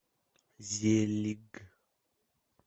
зелиг